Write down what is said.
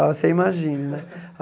Você imagine, né?